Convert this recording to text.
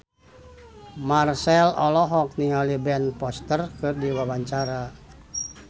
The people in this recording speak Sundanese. Marchell olohok ningali Ben Foster keur diwawancara